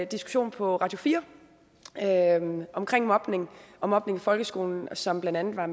diskussion på radio4 omkring mobning og mobning i folkeskolen som blandt andet var